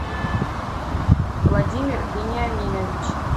владимир вениаминович